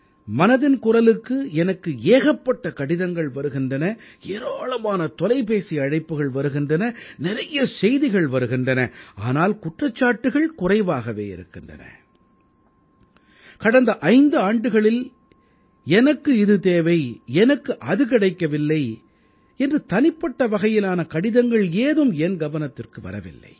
மனதின் குரலுக்கு எனக்கு ஏகப்பட்ட கடிதங்கள் வருகின்றன ஏராளமான தொலைபேசி அழைப்புகள் வருகின்றன நிறைய செய்திகள் வருகின்றன ஆனால் குற்றச்சாட்டுக்கள் குறைவாகவே இருக்கின்றன கடந்த 5 ஆண்டுகளில் எனக்கு இது தேவை எனக்கு அது கிடைக்கவில்லை என்று தனிப்பட்ட வகையிலான கடிதங்கள் ஏதும் என் கவனத்திற்கு வரவில்லை